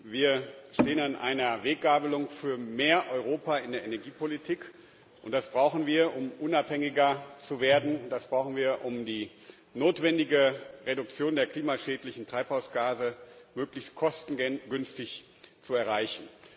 Wir stehen an einer Weggabelung für mehr Europa in der Energiepolitik, und das brauchen wir, um unabhängiger zu werden und die notwendige Reduktion der klimaschädlichen Treibhausgase möglichst kostengünstig zu erreichen.